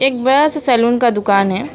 एक बड़ा सा सैलून का दुकान है।